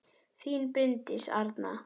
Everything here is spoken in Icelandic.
Þín Bryndís Arna.